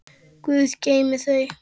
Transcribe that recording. Guð geymi þau.